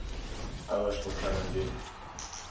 ouers begin indien